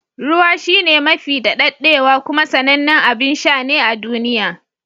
Ruwa shine mafi daɗaɗɗewa kuma sanannen abin sha ne a duniya.